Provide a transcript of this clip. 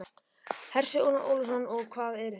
Hersir Aron Ólafsson: Og hvað eruð þið?